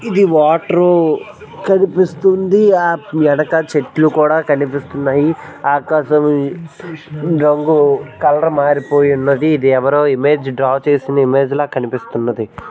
హోది వాట్ రో కత్తిపిస్తోలు ఆఫ్రికా చెట్లు కూడా యిప్పిస్తున్నారు ఆకాశం రంగు కలర్ మారిపోయినది దేవళం జీబ్రా చేసి మెగాటన్ పనికివస్తున్నది.